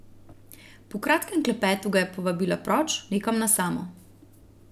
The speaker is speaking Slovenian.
Po kratkem klepetu ga je povabila proč, nekam na samo.